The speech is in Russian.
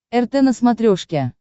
рт на смотрешке